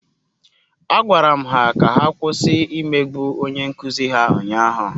Agwara m ha ka ha kwụsị imegbu onye nkụzi ha ụnyahụ.